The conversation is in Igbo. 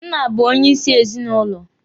Nna bụ onyeisi n'ezinụlọ.